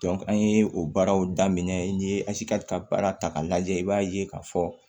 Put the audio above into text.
an ye o baaraw daminɛ n ye ka baara ta k'a lajɛ i b'a ye k'a fɔ